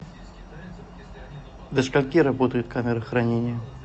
до скольки работает камера хранения